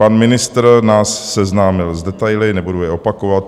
Pan ministr nás seznámil s detaily, nebudu je opakovat.